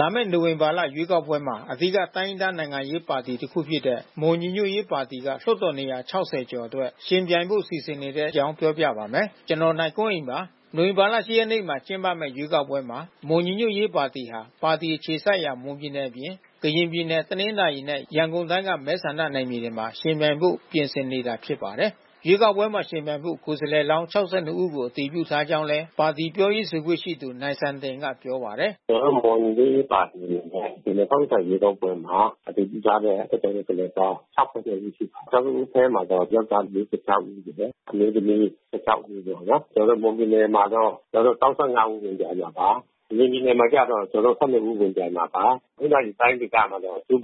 လာမယ့် နိုဝင်ဘာလ ရွေးကောက်ပွဲမှာ အဓိကတိုင်းရင်းသား နိုင်ငံရေးပါတီတစ်ခုဖြစ်တဲ့ မွန်ညီညွတ်ရေးပါတီက လွှတ်တော်နေရာ ၆၀ ကျော်အတွက် ယှဉ်ပြိုင်ဖို့ စီစဉ်နေတဲ့အကြောင်း ပြောပြပါမယ်။ ဗွီအိုအေမြန်မာပိုင်း သတင်းထောက် နိင်ကွန်းအိန် သတင်းပေးပို့ထားပါတယ်။ နိုဝင်ဘာလ ၈ ရက်နေ့မှာ ကျင်းပမယ့် ရွေးကောက်ပွဲမှာ မွန်ညီညွတ်ရေးပါတီဟာ ပါတီအခြေစိုက်ရာ မွန်ပြည်နယ် အပြင်၊ ကရင်ပြည်နယ် ၊ တနင်္သာရီနဲ့ ရန်ကုန်တိုင်းက မဲဆန္ဒနယ်မြေတွေမှာ ယှဉ်ပြိုင်ဖို့ ပြင်ဆင်နေတာ ဖြစ်ပါတယ်။ ရွေးကောက်ပွဲမှာ ယှဉ်ပြိုင်ဖို့ ကိုယ်စားလှယ်လောင်း (၆၂)ဦးကို အတည်ပြုထားကြောင်းလည်း ပါတီပြောရေးဆိုခွင့် ရှိသူ နိုင်စံတင်ကပြောပါတယ်။ “ကျွန်တော်တို့ မွန်ညီညွတ်ရေးပါတီအနေနဲ့ ဒီ(၂၀၂၀)ရွေးကောက်ပွဲမှာ အတည်ပြုထားတဲ့လွှတ်တော် ကိုယ်စားလှယ် ပေါင်း(၆၂)ဦးရှိပါတယ်။ ကျွန်တော်တို့အထဲမှာတော့ ယောင်္ကျားလေး(၄၆)ဦးရှိတယ်။ အမျိုးသမီး(၁၆)ဦးပေါ့နော်။ ကျွန်တော်တို့ မွန်ပြည်နယ်မှာတော့ (၃၅)ဦးဝင်ပြိုင်မှာပါ။ ကရင်ပြည်နယ်မှာကျတော့(၁၂)ဦးဝင်ပြိုင်မှာပါ။ တနင်္သာရီ တိုင်းဒေသ မှာတော့ (၈)ဦး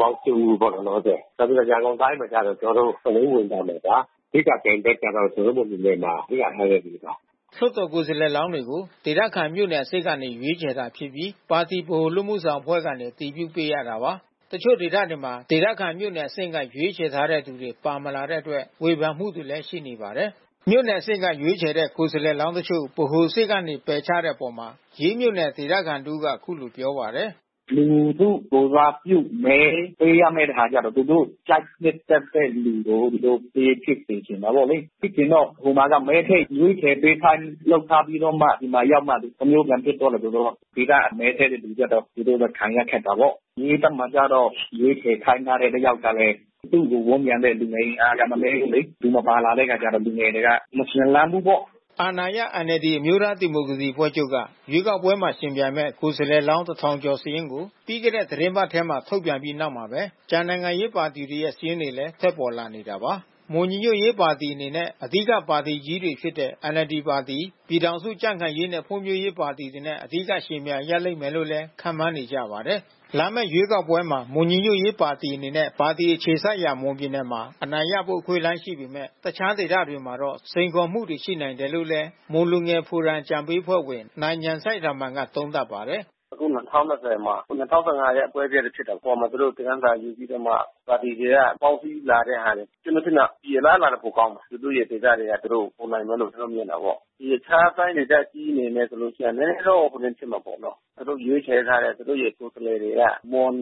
ပေါ့လောလောဆယ်။ နောက်ပြီး ရန်ကုန်တိုင်းဒေသမှာတော့ ကျွန်တော်တို့(၇)ဦး ဝင်ပြိုင်မှာပါ။ အဓိကပြိုင်ဘက်ကတော့ ကျွန်တော်တို့မွန်ပြည်နယ်မှာ အဓိက NLD ပါ။” လွှတ်တော်ကိုယ်စားလှယ်လောင်းတွေကို ဒေသခံမြို့နယ်အဆင့်ကနေ ရွေးချယ်တာဖြစ်ပြီး ပါတီဗဟိုအလုပ်မှုဆောင် အဖွဲ့ကနေ အတည်ပြုပေးရတာပါ။ တချို့ဒေသတွေမှာ ဒေသခံမြို့နယ်အဆင့်က ရွေးချယ်တဲ့သူတွေ မပါလာတဲ့အတွက် ဝေဖန်မှုတွေလဲရှိနေတာပါ။ မြို့နယ်အဆင့်ကရွေးချယ်တဲ့ ကိုယ်စားလှယ်လောင်းတချို့ဗဟိုအဆင့်ကနေ ပယ်ချတဲ့အပေါ် ရေးမြို့နယ်ဒေသခံ တဦးက အခုလို ပြောပါတယ်။ “လူထုကိုယ်စားပြုမဲပေးရမယ်ဆိုတဲ့ အခါကျတော့ သူတို့ကြိုက်နှစ်သက်တဲ့ လူတွေကိုသူတို့ ပေးဖြစ်ချင်တာ ပေါ့လေ။ ဖြစ်ချင်တော့ ဟိုမှာက မဲထဲ့ရွေးချယ်ပေးခိုင်း လုပ်ထားပြီးတော့မှ ဒီနှာရောက်တော့ တမျိုးပြန်ဖြစ်သွားတယ်ဆိုတော့ ဒေသမဲထည့်တဲ့သူ အတွက်ကတော့ သူတို့ခံရခက်တာပေါ့။ ရေးဖက်မှာကျတော့ ရွေးချယ်ခိုင်းထားတဲ့ တယောက်ကလဲ သူ့ကိုဝန်းရံတဲ့ လူငယ်အင်အားကလည်း မနည်းဘူးလေ။ သူမပါလာတဲ့အခါကျတော့ လူငယ်တွေက မရွှင်လန်းဘူးပေါ့။” အာဏာရ NLD အမျိုးသားဒီမိုကရေစီအဖွဲ့ချုပ်က ရွေးကောက်ပွဲမှာ ယှဉ်ပြိုင်မယ့် ကိုယ်စားလှယ်လောင်း ၁ ထောင်ကျော် စာရင်းကို ပြီးခဲ့တဲ့ သီတင်းပတ်ထဲမှာ ထုတ်ပြန်ခဲ့ပြီးနောက်မှာပဲ ကျန်နိုင်ငံရေးပါတီတွေရဲ့ စာရင်းတွေလည်း ထွက်ပေါ်လာ နေတာပါ။ မွန်ညီညွတ်ရေးပါတီအနေနဲ့ အဓိက ပါတီကြီးတွေဖြစ်တဲ့ NLD ပါတီ၊ ပြည်ထောင်စုကြံ့ခိုင်ရေးနဲ့ ဖွံ့ဖြိုးရေးပါတီတွေနဲ့ အဓိကယှဉ်ပြိုင်ရလိမ့်မယ်လို့လည်း ခန့်မှန်းနေကြပါတယ်။ လာမယ့် ရွေးကောက်ပွဲမှာ မွန်ညီညွတ်ရေးပါတီ အနေနဲ့ ပါတီ အခြေစိုက်ရာ မွန်ပြည်နယ်မှာ အနိုင်ရဖို့အခွင့်အလမ်းရှိပေမယ့် အခြားဒေသတွေမှာတော့ စိန်ခေါ်မှုရှိနိုင်တယ်လို့လည်း မွန်လူငယ်ဖိုရမ်အကြံပေးအဖွဲ့ဝင် နိုင်ညာဏ်စိုက်ရာမာန် က သုံးသပ်ပါတယ်။ “အခု(၂၀၂၀)မှာဒီ(၂၀၁၅)ရဲ့အကွဲအပြဲဖြစ်တဲ့ အပေါ်မှာ သူတို့သင်္ခန်းစာယူပြီးတော့မှ ပါတီတွေက ပေါင်းစည်း လာတဲ့ ဟာတွေ။ ကျွန်တော်ထင်တယ် အလားအလာတွေပိုကောင်းမယ်။ သူတို့ရဲ့ ဒေသတွေမှာ သူတို့ ဝင်နိုင်မယ်လို့ ကျွန် တော်မြင်တာပေါ့။ ဒီတခြားတိုင်းဒေသကြီးတွေဆိုလို့ရှိရင် နည်းနည်းတော့ ဟိုဒင်းဖြစ်မှာပေါ့နော်။ သူတို့ရွေးချယ်ထားတဲ့ သူတို့ရဲ့ ကိုယ်စားလှယ်တွေက မွန်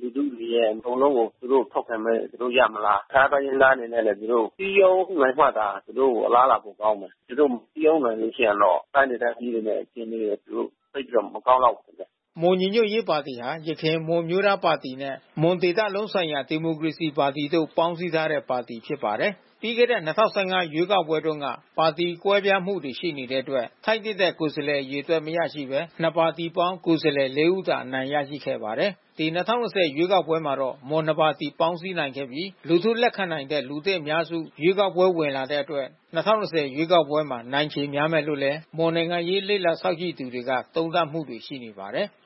လူထုတွေရဲ့အကုန်လုံးကို သူတို့ထောက်ခံမဲ ပေးကြမလား။ တခြားတိုင်းရင်းသား တွေနဲ့လည်း သူတို့ စည်းရုံးနိုင်မှသာ သူတို့အလားလာ ပိုကောင်းမယ်။ သူတို့မစည်းရုံးနိုင်ဘူးဖြစ်ရင်တော့ တိုင်းဒေသကြီး တွေရဲ့ အခြေအနေ သူတို့သိပ်ပြီးတော့ မကောင်းလောက်ဘူးထင်တယ်။” မွန်ညီညွတ်ရေးပါတီဟာ ယခင် မွန်အမျိုးသားပါတီနဲ့ မွန်ဒေသလုံးဆိုင်ရာဒီမိုကရေစီပါတီတို့ ပေါင်းစည်းထားတဲ့ ပါတီဖြစ်ပါတယ်။ ပြီးခဲ့တဲ့(၂၀၁၅)ရွေးကောက်ပွဲတုန်းက ပါတီကွဲပြားမှုရှိနေတဲ့အတွက် ထိုက်သင့်တဲ့ ကိုယ်စားလှယ်အရေအတွက် မရရှိဘဲ နှစ်ပါတီပေါင်းကိုယ်စားလှယ်(၄)ဦးသာ အနိုင်ရရှိခဲ့ပါတယ်။ ဒီ(၂၀၂၀)ရွေးကောက်ပွဲမှာတော့ မွန်နှစ်ပါတီပေါင်းစည်းနိုင်ခဲ့ပြီး လူထုလက်ခံနိုင်တဲ့ လူသစ်အများစု ရွေးကောက်ပွဲဝင် လာတဲ့အတွက် ၂၀၂၀ ရွေးကောက်ပွဲမှာ နိုင်ချေများမယ်လို့လဲ မွန်နိုင်ငံရေး လေ့လာစောင့်ကြည့်သူတွေက သုံးသပ် မှုတွေ ရှိနေပါတယ်။